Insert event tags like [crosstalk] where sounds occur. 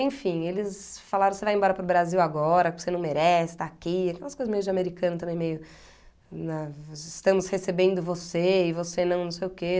Enfim, eles falaram, você vai embora para o Brasil agora, você não merece estar aqui, aquelas coisas meio de americano também, meio, [unintelligible] estamos recebendo você e você não, não sei o quê.